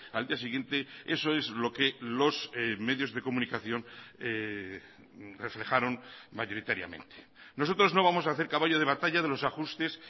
al día siguiente eso es lo que los medios de comunicación reflejaron mayoritariamente nosotros no vamos a hacer caballo de batalla de los ajustes